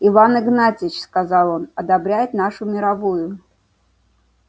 иван игнатьич сказал он одобряет нашу мировую